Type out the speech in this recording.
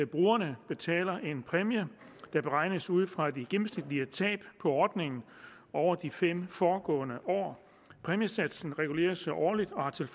brugerne betaler en præmie der beregnes ud fra de gennemsnitlige tab på ordningen over de fem foregående år præmiesatsen reguleres årligt og har til